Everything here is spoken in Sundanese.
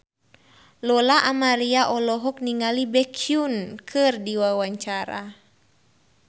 Lola Amaria olohok ningali Baekhyun keur diwawancara